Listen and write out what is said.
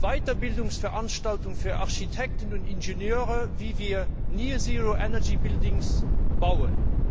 Weiterbildungsveranstaltungen für Architekten und Ingenieure, wie wir Fast Null Energie Häuser bauen,